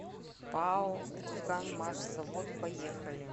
пао курганмашзавод поехали